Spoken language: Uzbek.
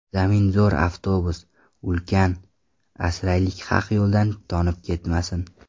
Zamin zo‘r avtobus, ulkan... Asraylik haq yo‘ldan tonib ketmasin.